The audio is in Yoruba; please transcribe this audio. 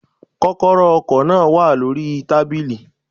Kókóró ọkò náà wà lórí i tábìlì